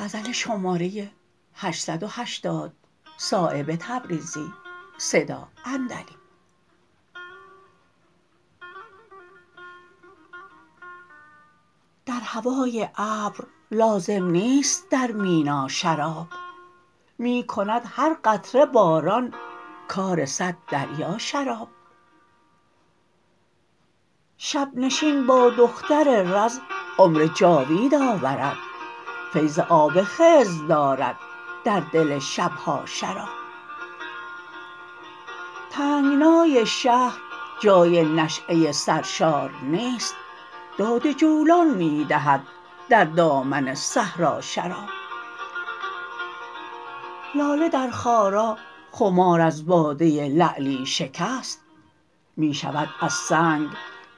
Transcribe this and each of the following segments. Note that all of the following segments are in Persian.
در هوای ابر لازم نیست در مینا شراب می کند هر قطره باران کار صد دریا شراب شب نشین با دختر رز عمر جاوید آورد فیض آب خضر دارد در دل شبها شراب تنگنای شهر جای نشأه سرشار نیست داد جولان می دهد در دامن صحرا شراب لاله در خارا خمار از باده لعلی شکست می شود از سنگ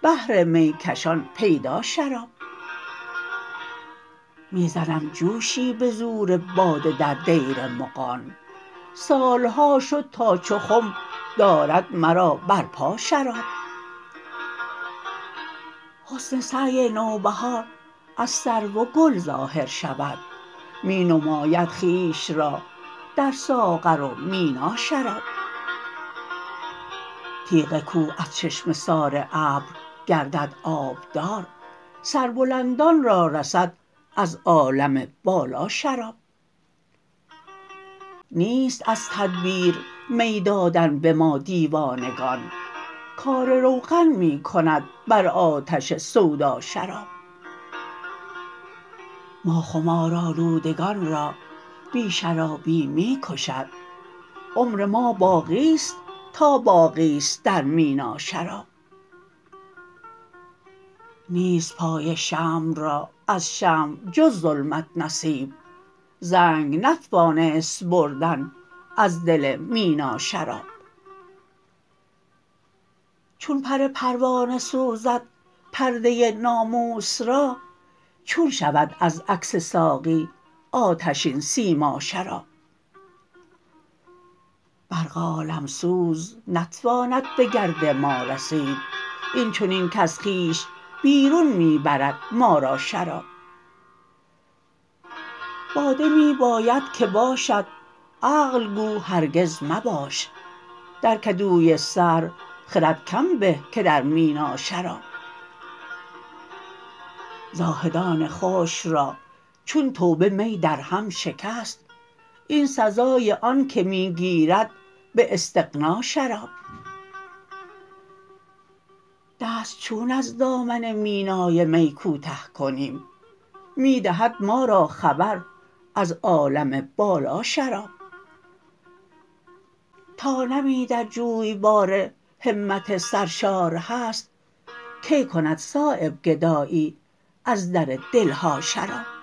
بهر میکشان پیدا شراب می زنم جوشی به زور باده در دیر مغان سالها شد تا چو خم دارد مرا بر پا شراب حسن سعی نوبهار از سرو و گل ظاهر شود می نماید خویش را در ساغر و مینا شراب تیغ کوه از چشمه سار ابر گردد آبدار سربلندان را رسد از عالم بالا شراب نیست از تدبیر می دادن به ما دیوانگان کار روغن می کند بر آتش سودا شراب ما خمارآلودگان را بی شرابی می کشد عمر ما باقی است تا باقی است در مینا شراب نیست پای شمع را از شمع جز ظلمت نصیب زنگ نتوانست بردن از دل مینا شراب چون پر پروانه سوزد پرده ناموس را چون شود از عکس ساقی آتشین سیما شراب برق عالمسوز نتواند به گرد ما رسید این چنین کز خویش بیرون می برد ما را شراب باده می باید که باشد عقل گو هرگز مباش در کدوی سر خرد کم به که در مینا شراب زاهدان خشک را چون توبه می در هم شکست این سزای آن که می گیرد به استغنا شراب دست چون از دامن مینای می کوته کنیم می دهد ما را خبر از عالم بالا شراب تا نمی در جویبار همت سرشار هست کی کند صایب گدایی از در دلها شراب